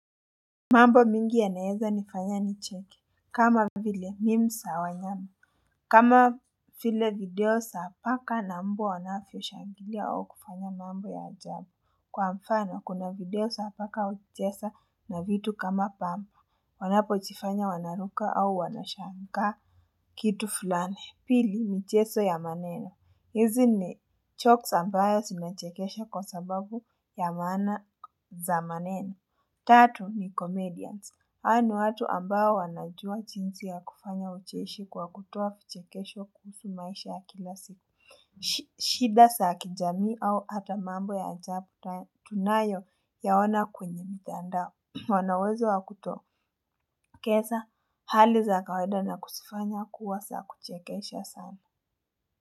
Mambo mingi ya naeza ni fanya ni cheki kama vile memes za wanyama kama vie video za paka na mbwa wanavyo shangilia au kufanya mambo ya ajabu Kwa mfano kuna video za paka wakicheza na vitu kama pambo wanapo jifanya wanaruka au wanashangaa kitu fulani pili mchezo ya maneno hizi ni jokes ambayo sina chekesha kwa sababu ya maana za maneno Tatu ni Comedians Haa ni watu ambao wanajua jinsi ya kufanya ucheshi kwa kutoa kichekesho kuhusu maisha ya kila siku shida saa kijami au hata mambo ya ajabu tunayo yaona kwenye mtandao Wanawezo wa kutoakeza hali za kaweda na kusifanya kuwa saa kuchekesha sana.